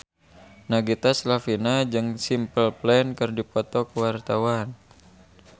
Nagita Slavina jeung Simple Plan keur dipoto ku wartawan